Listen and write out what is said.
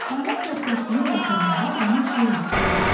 Ana körpəsini yatıranda ona şeir oxuyur.